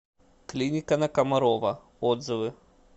клиника на комарова отзывы